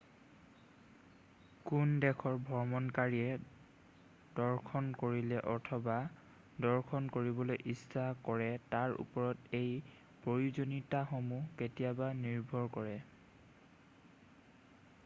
কোন দেশৰ ভ্ৰমণকাৰীয়ে দৰ্শন কৰিলে অথবা দৰ্শন কৰিবলৈ ইচ্ছা কৰে তাৰ ওপৰত এই প্ৰয়োজনীয়তাসমূহ কেতিয়াবা নিৰ্ভৰ কৰে